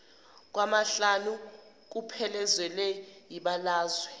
kwamahlanu kuphelezelwe yibalazwe